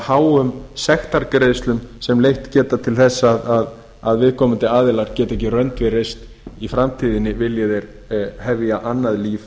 háum sektargreiðslum sem leitt geta til þess að viðkomandi aðilar fá ekki rönd við reist í framtíðinni vilji þeir hefja annað líf